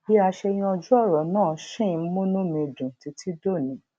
bí a ṣe yanjú òrò náà ṣì ń múnú mi dùn títí dòní